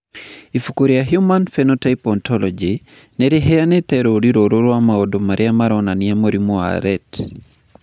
Ibuku rĩa The Human Phenotype Ontology nĩ rĩheanĩte rũũri rũrũ rwa maũndũ marĩa maronania mũrimũ wa Rett.